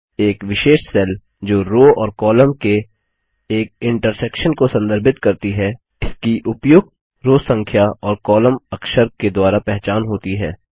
एक विशेष सेल जो रो और कॉलम के एक इन्टर्सेक्शन को संदर्भित करती है इसकी उपयुक्त रो संख्या और कॉलम अक्षर के द्वारा पहचान होती है